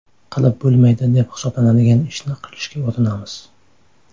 Qilib bo‘lmaydi deb hisoblanadigan ishni qilishga urinamiz.